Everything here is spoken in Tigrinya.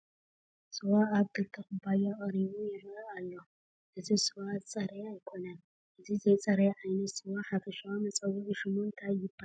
ስዋ ኣብ ክልተ ኩባያ ቀሪቡ ይርአ ኣሎ፡፡ እዚ ስዋ ዝፀረየ ኣይኮነን፡፡ እዚ ዘይፀረየ ዓይነት ስዋ ሓፈሻዊ መፀውዒ ሽሙ እንታይ ይበሃል?